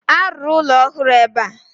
A ruru ụlọ ọhụrụ ebe a